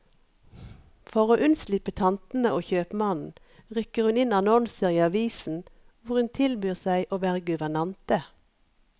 For å unnslippe tantene og kjøpmannen, rykker hun inn annonser i avisen hvor hun tilbyr seg å være guvernante.